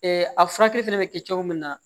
a furakɛli fɛnɛ bɛ kɛ cogo min na